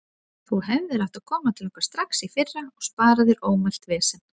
Þú hefðir átt að koma til okkar strax í fyrra og spara þér ómælt vesen.